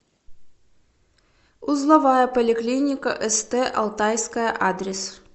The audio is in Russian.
узловая поликлиника ст алтайская адрес